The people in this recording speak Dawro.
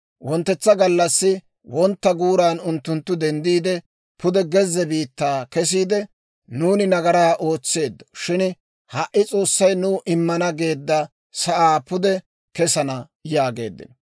Wonttetsa gallassi wontta guuran unttunttu denddiide, pude gezze biittaa kesiide, «Nuuni nagaraa ootseeddo; shin ha"i S'oossay nuw immana geedda sa'aa pude kesana» yaageeddino.